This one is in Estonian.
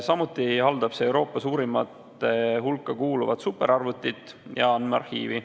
Samuti haldab see Euroopa suurimate hulka kuuluvat superarvutit ja andmearhiivi.